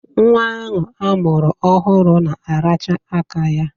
Nwa ahụ a mụrụ ọhụrụ na-aracha aka ya.